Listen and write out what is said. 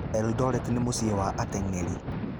Eldoret nĩ mũciĩ wa ateng’eri.